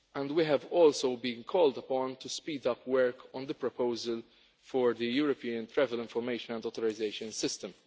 We have also been called upon to speed up work on the proposal for the European Travel Information and Authorisation System.